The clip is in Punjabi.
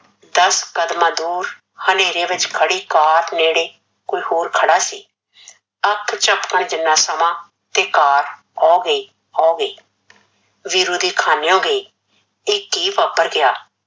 ਦੱਸ ਕਦਮਾਂ ਦੂਰ ਹਨੇਰੇ ਵਿੱਚ ਖੜੀ car ਨੇੜੇ ਕੋਈ ਕੋਈ ਖੜਾ ਸੀ, ਅੱਖ ਝਮਕਣ ਜੀਨਾ ਸਮਾਂ ਤੇ car ਓਹ ਗਈ ਓਹ ਗਈ ਵੀਰੂ ਦੇ ਖਾਨਿਓ ਗਈ ਏ ਕੀ ਵਪਾਰ ਗਿਆ